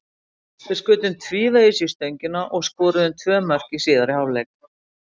Við skutum tvívegis í stöngina og skoruðum tvö mörk í síðari hálfleik.